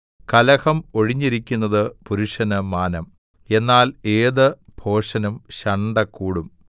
കലഹം ഒഴിഞ്ഞിരിക്കുന്നത് പുരുഷന് മാനം എന്നാൽ ഏത് ഭോഷനും ശണ്ഠ കൂടും